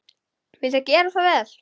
Viltu gera svo vel.